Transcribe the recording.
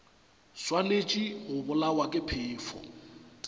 swanetše go bolawa ke phefo